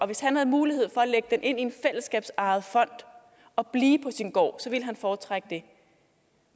hvis han havde mulighed for at lægge det ind i en fællesskabsejet fond og blive på sin gård foretrække det